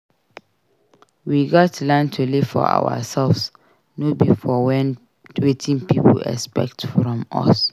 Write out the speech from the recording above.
We gats learn to live for ourselves no be for wetin pipo expect from us.